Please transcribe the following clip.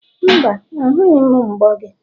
mba, ahụghị m mbo gị.